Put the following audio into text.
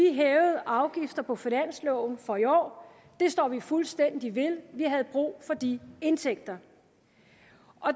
hævede afgifter på finansloven for i år og det står vi fuldstændig ved vi havde brug for de indtægter